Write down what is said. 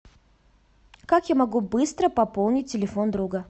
как я могу быстро пополнить телефон друга